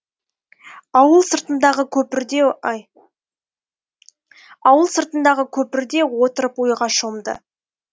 ауыл сыртындағы көпірде отырып ойға шомды